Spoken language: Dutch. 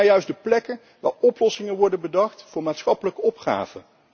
Dat zijn nou juist de plekken waar oplossingen worden bedacht voor maatschappelijke opgaven.